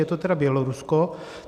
Je to tedy Bělorusko.